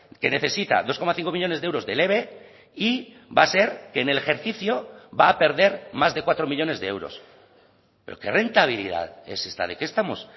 que necesita dos coma cinco millónes de euros del eve y va a ser que en el ejercicio va a perder más de cuatro millónes de euros pero qué rentabilidad es esta de qué estamos